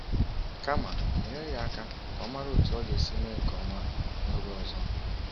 Kama, nyere ya aka ka ọ mara otú ọ ga-esi eme nke ọma n’oge ọzọ.